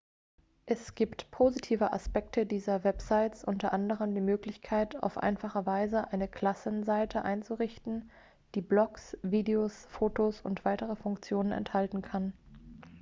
es gibt positive aspekte dieser websites unter anderem die möglichkeit auf einfache weise eine klassenseite einzurichten die blogs videos fotos und weitere funktionen enthalten kann